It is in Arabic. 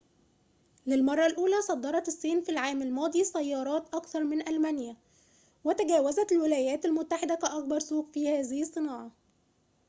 للمرّة الأولى صدّرت الصين في العام الماضي سيّارات أكثر من ألمانيا وتجاوزت الولايات المتحدة كأكبر سوق في هذه الصناعة